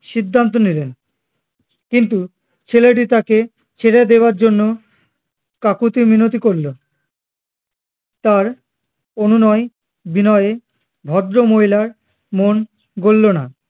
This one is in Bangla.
সিদ্ধান্ত নিলেন কিন্তু ছেলেটি তাকে ছেড়ে দেয়ার জন্য কাকুতি মিনতি করলো তার অনুনয় বিনয়ে ভদ্রমহিলার মন গোল্লনা